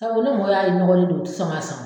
Tabu ni mɔw y'a ye i nɔgɔlen don u ti sɔn k'a san o